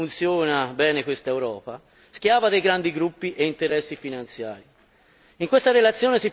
un ottimo esempio di come funziona bene questa Europa, schiava dei grandi gruppi e interessi finanziari.